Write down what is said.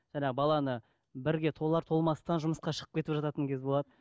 жаңағы баланы бірге толар толмастан жұмысқа шығып кетіп жататын кез болады